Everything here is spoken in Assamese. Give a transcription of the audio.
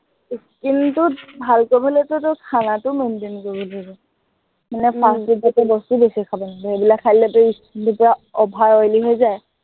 skin টো ভাল কৰিবলেতো তোৰটো খানাটো maintain কৰিব লাগিব, মানে fast food জাতীয় বস্তুও বেছি খাব নালাগিব। এইবিলাক খাই দিলে তোৰ skin টো htje over oily গৈ যায়